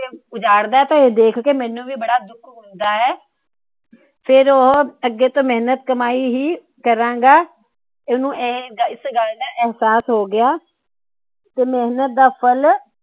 ਉਜਾੜ ਦਾ ਦੇਖ ਕੇ ਮੈਨੂੰ ਵੀ ਬੜਾ ਦੁੱਖ ਹੁੰਦਾ ਏ। ਫਿਰ ਓ ਅੱਗੇ ਤੋਂ ਮੇਹਨਤ ਦੀ ਕਮਾਈ ਹੀ ਕਰਾਂਗਾ ਉਸ ਨੂੰ ਏਹੇ ਇਸ ਗੱਲ ਦਾ ਇਹਸਾਸ ਹੋ ਗਿਆ। ਤੇ ਮੇਹਨਤ ਦਾ ਫ਼ਲ